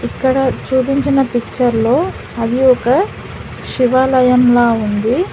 ఇక్కడ చూపించిన పిక్చర్ లో అవి ఒక శివాలయం లా ఉంది.